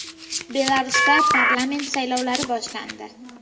Belarusda parlament saylovlari boshlandi.